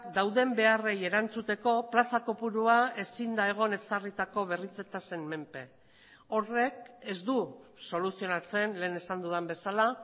dauden beharrei erantzuteko plaza kopurua ezin da egon ezarritako berritze tasen menpe horrek ez du soluzionatzen lehen esan dudan bezala